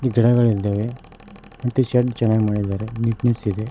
ಗಿಡಗಳ ಇದ್ದಾವೆ ಮತ್ತು ಶೇಡ್ ಚೆನ್ನಾಗ್ ಮಾಡಿದಾರೆ ನೀಟ್ನೆಸ್ ಇದೆ.